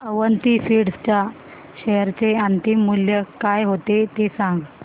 Avanti feeds च्या share चे अंतिम मूल्य काय होते ते सांगा